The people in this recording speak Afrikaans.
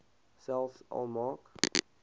selfs al maak